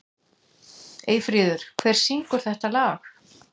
Eyfríður, hver syngur þetta lag?